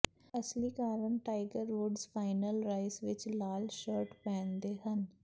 ਅਸਲੀ ਕਾਰਨ Tiger Woods final ਰਾਇਸ ਵਿੱਚ ਲਾਲ ਸ਼ਰਟ ਪਹਿਨਦੇ ਹਨ